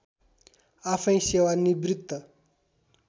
आफैँ सेवा निवृत्त